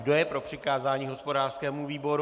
Kdo je pro přikázání hospodářskému výboru?